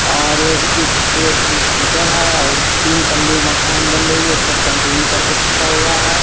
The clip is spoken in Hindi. और इस ए एक स्कूटर है ओ तीन तल्ले मकान बन रही हैं ऊपर सेंट्रिंग करके छुटा हुआ है।